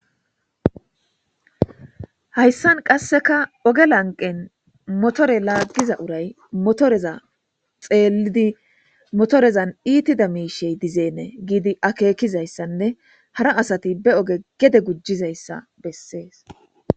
hayssan qasseka oge lanqen motore laaggiza uray motoreza xeelidi motorezan iitida miishey dizeenee giidi akeekizayssanne hara asati be oge gede gujjizayssa bessees